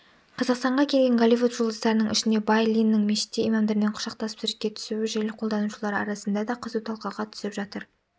қазақстанға келген голливуд жұлдыздарының ішінде бай линнің мешітте имамдармен құшақтасып суретке түсуі желі қолданушылары арасында да қызу талқыға түсіп жатыр